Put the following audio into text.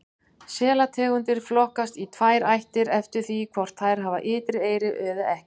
Selategundir flokkast í tvær ættir eftir því hvort þær hafa ytri eyru eða ekki.